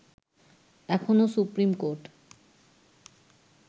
এখনো supreme court